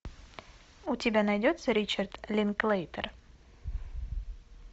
у тебя найдется ричард линклейтер